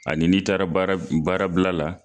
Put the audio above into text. Ani n 'i taara baara baarabila la